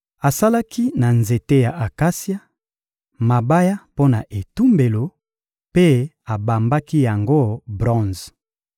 Asalaki na nzete ya akasia, mabaya mpo na etumbelo mpe abambaki yango bronze.